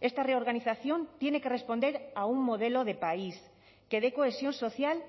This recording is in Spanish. esta reorganización tiene que responder a un modelo de país que dé cohesión social